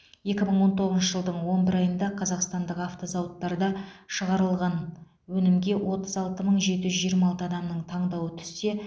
екі мың он тоғызыншы жылдың он бір айында қазақстандық автозауыттарда шығарылған өнімге отыз алты мың жеті жүз жиырма алты адамның таңдауы түссе